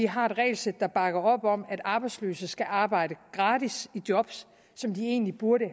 har et regelsæt der bakker op om at arbejdsløse skal arbejde gratis i job som de egentlig burde